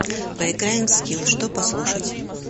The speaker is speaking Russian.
поиграем в скилл что послушать